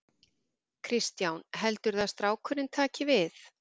Kristján: Heldurðu að strákurinn taki við?